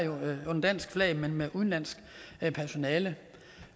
under dansk flag men med udenlandsk personale